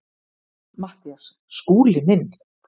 MATTHÍAS: Skúli minn!